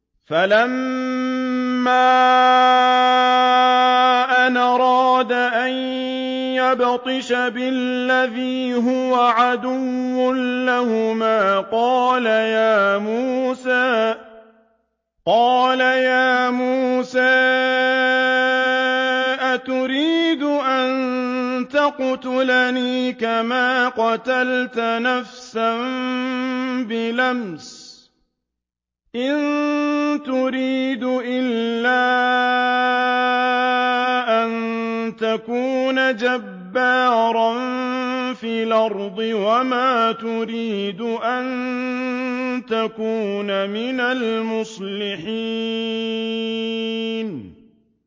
فَلَمَّا أَنْ أَرَادَ أَن يَبْطِشَ بِالَّذِي هُوَ عَدُوٌّ لَّهُمَا قَالَ يَا مُوسَىٰ أَتُرِيدُ أَن تَقْتُلَنِي كَمَا قَتَلْتَ نَفْسًا بِالْأَمْسِ ۖ إِن تُرِيدُ إِلَّا أَن تَكُونَ جَبَّارًا فِي الْأَرْضِ وَمَا تُرِيدُ أَن تَكُونَ مِنَ الْمُصْلِحِينَ